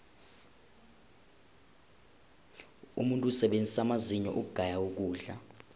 umuntu usebenzisa amazinyo ukugaya ukudla